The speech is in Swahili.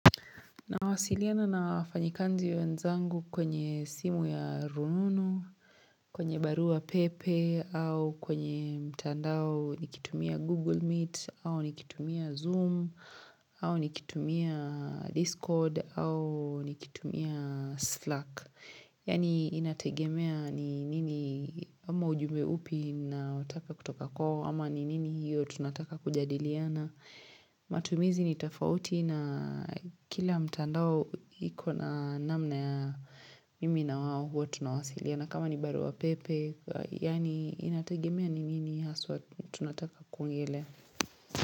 Nawasiliana na wafanyikanzi wenzangu kwenye simu ya rununu, kwenye barua pepe, au kwenye mtandao nikitumia Google Meet, au nikitumia Zoom, au nikitumia Discord, au nikitumia Slack. Ysani inategemea ni nini ama ujumbe upi ninaotaka kutoka kwa ama ni nini hiyo tunataka kujadiliana. Matumizi ni tofauti na kila mtandao iko na namna ya mimi na wao huwa tunawasiliana. Kama ni barua pepe, yaani inategemea ni nini haswa tunataka kuongelea.